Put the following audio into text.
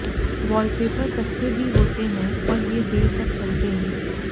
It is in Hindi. वॉलपेपर सस्ते भी होते हैं और ये देर तक चलते हैं